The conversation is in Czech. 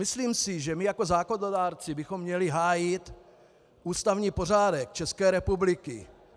Myslím si, že my jako zákonodárci bychom měli hájit ústavní pořádek České republiky.